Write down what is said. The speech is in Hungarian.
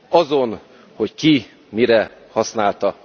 Azon, hogy ki mire használta.